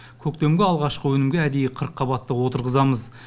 көктемгі алғашқы өнімге әдейі қырыққабатты отырғызамыз